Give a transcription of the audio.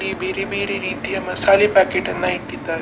ಇಲ್ಲಿ ಬೇರೆ ಬೇರೆ ರೀತಿಯ ಮಸಾಲೆ ಪ್ಯಾಕೆಟ್ ನ್ನ ಇಟ್ಟಿದ್ದಾರೆ.